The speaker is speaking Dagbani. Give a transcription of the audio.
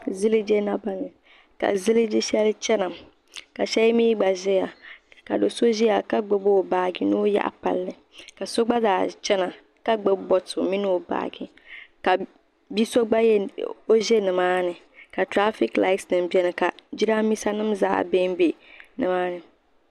ziliji naba ni ka ziliji shɛli chana ka shɛli mi gba zaya ka do' so ʒiya ka gbubi o baaji ni o yaɣi palli ka so gba zaa chɛna ka gbubi bonto mini o baaji ni o yaɣi palli ka o za nima ka trafikilasnima beni ka Jiraaminsa nima zaa beni be nima.